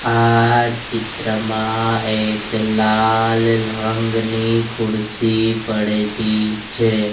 આ ચિત્રમાં એક લાલ રંગની ખુરસી પડેલી છે.